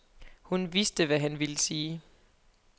Hun vidste, hvad han ville sige.